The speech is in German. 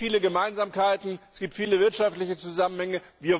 Es gibt viele Gemeinsamkeiten, es gibt viele wirtschaftliche Zusammenhänge.